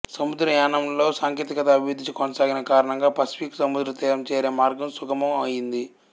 సముద్రయానంలో సాంకేతికత అభివృద్ధి కొనసాగిన కారణంగా పసిఫిక్ సముద్రతీరం చేరే మార్గం సుగమం అయింది